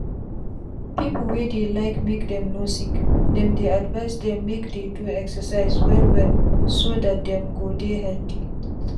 people wey dey like make them no sickthem dey advise dem make dey do excercise well well so that them go dey healthy.